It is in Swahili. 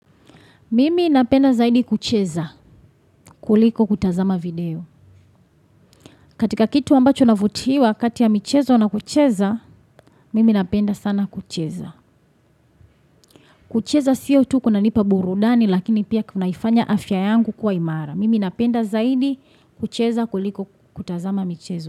Mimi napenda zaidi kucheza kuliko kutazama video. Katika kitu ambacho navutiwa katia michezo na kucheza, mimi napenda sana kucheza. Kucheza siyo tu kuna nipa burudani lakini pia kunaifanya afya yangu kuwa imara. Mimi napenda zaidi kucheza kuliko kutazama michezo.